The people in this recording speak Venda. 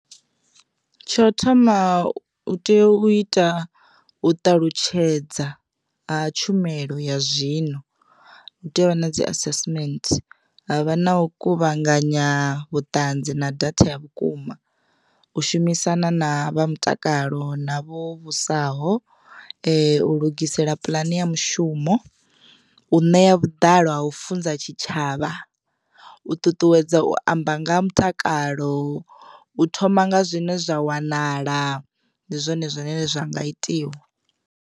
Tsho thoma u tea u ita u ṱalutshedza ha tshumelo ya zwino hu tea u vha na dzi assessment havha na u kuvhanganya vhuṱanzi na data ya vhukuma u shumisana na vha mutakalo na vho vhusa u lugisela puḽane ya mushumo, u ṋea vhuḓalo ha u funza tshitshavha, u ṱuṱuwedza u amba nga ha mutakalo u thoma nga zwine zwa wanala ndi zwone zwine zwa nga itiwa.